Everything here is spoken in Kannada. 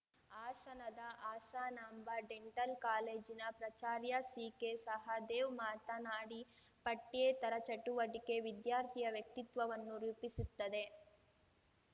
ಹಾಸನದ ಹಾಸನಾಂಬ ಡೆಂಟಲ್‌ ಕಾಲೇಜಿನ ಪ್ರಾಚಾರ್ಯ ಸಿಕೆ ಸಹದೇವ್‌ ಮಾತನಾಡಿ ಪಠ್ಯೇತರ ಚಟುವಟಿಕೆ ವಿದ್ಯಾರ್ಥಿಯ ವ್ಯಕ್ತಿತ್ವವನ್ನು ರೂಪಿಸುತ್ತದೆ